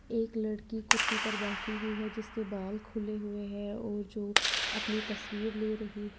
एक लड़की कुर्सी पर बैठी हुई है जिसके बाल खुले हुए हैं और जो अपनी तस्वीर ले रही है।